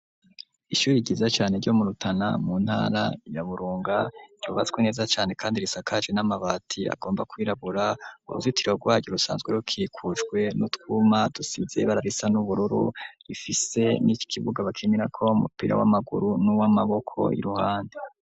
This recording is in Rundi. ishyuri ryiza cyane ryo mu rutana mu ntara ya burunga ryubatswe neza cane kandi risakajwe n'amabati agomba kwirabura uruzitiro rwaryo rusanzwe rwubakishijwe n'utwuma dusize ibara risa n'ubururu rifise n'ikibuga bakininako umupira w'amaguru n'uw'amaboko k,uruhande